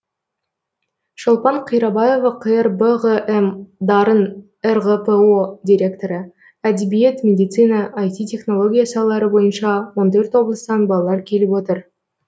шолпан қирабаева қр бғм дарын рғпо директоры әдебиет медицина іт технология салалары бойынша он төрт облыстан балалар келіп отыр